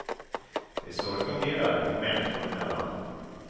Det är så det fungerar, mänskor emellan.